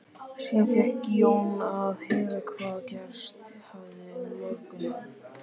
Síðan fékk Jón að heyra hvað gerst hafði um morguninn.